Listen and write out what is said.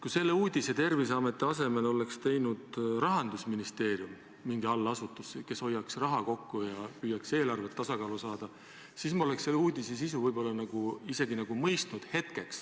Kui selle uudise oleks Terviseameti asemel teinud mõni Rahandusministeeriumi allasutus, kes püüaks raha kokku hoida ja eelarvet tasakaalu saada, siis ma oleks selle uudise sisu isegi ehk mõistnud.